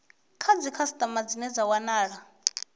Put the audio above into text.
kha dzikhasitama dzine dza wana